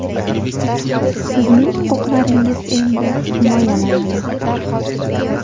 Sizning huquqlaringiz endi himoyalanadi!